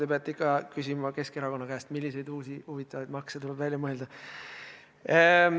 Te peate ikka Keskerakonna käest küsima, milliseid uusi huvitavaid makse tuleb välja mõelda.